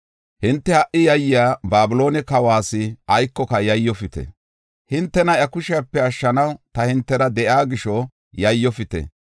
Hinte ha77i yayiya Babiloone kawas aykoka yayyofite. Hintena iya kushepe ashshanaw ta hintera de7iya gisho yayyofite.